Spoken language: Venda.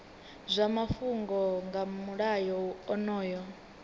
zwa mafhungo nga mulayo onoyu